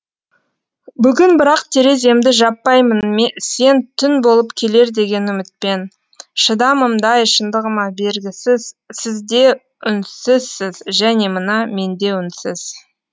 бүгін бірақ тереземді жаппаймын сен түн болып келер деген үмітпен шыдамымдай шындығыма бергісіз сізде үнсізсіз және мына менде үнсіз